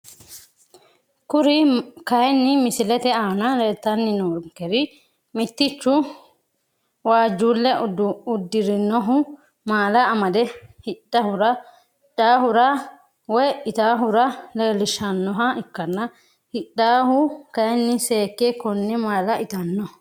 Kuri kayini misilete aana leelitani noonkeri mitichu waajulle udirinohu maala amade hidhaahura woyi itaahura leelishaanoha ikkana hidhawuhu kayiini seeke kone maala itano.